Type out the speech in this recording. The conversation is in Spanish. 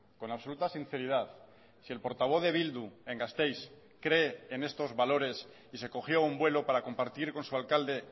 con absoluta sinceridad si el portavoz de bildu en gasteiz cree en estos valores y se cogió un vuelo para compartir con su alcalde